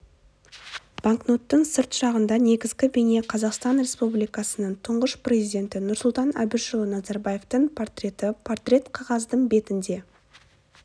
банкноттың сырт жағында негізгі бейне қазақстан республикасының тұңғыш президенті нұрсұлтан әбішұлы назарбаевтың портреті портрет қағаздың бетінде